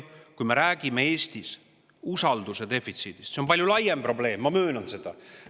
Kui me räägime Eestis usalduse defitsiidist, siis see on palju laiem probleem, ma möönan seda.